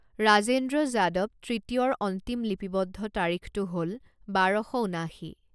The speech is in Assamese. ৰাজেন্দ্ৰ যাদব তৃতীয়ৰ অন্তিম লিপিৱদ্ধ তাৰিখটো হ'ল বাৰ শ ঊনাশী।